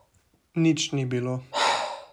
Nič ni bilo.